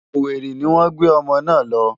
Owerri ni wọ́n gbé ọmọ náà lọ.